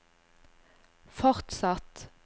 fortsatt